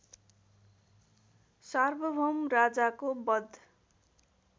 सार्वभौम राजाको वध